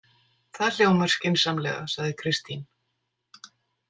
Það hljómar skynsamlega, sagði Kristín.